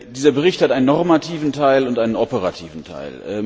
Dieser Bericht hat einen normativen Teil und einen operativen Teil.